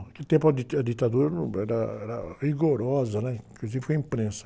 Naquele tempo a dita, a ditadura no era, era rigorosa, né? Inclusive com a imprensa.